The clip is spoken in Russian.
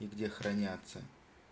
и где хранятся